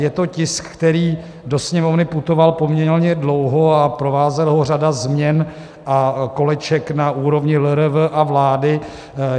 Je to tisk, který do Sněmovny putoval poměrně dlouho a provázela ho řada změn a koleček na úrovni LRV a vlády.